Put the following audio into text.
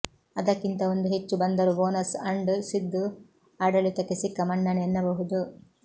ಅದಕ್ಕಿಂತ ಒಂದು ಹೆಚ್ಚು ಬಂದರೂ ಬೋನಸ್ ಅಂಡ್ ಸಿದ್ದು ಆಡಳಿತಕ್ಕೆ ಸಿಕ್ಕ ಮನ್ನಣೆ ಎನ್ನಬಹುದು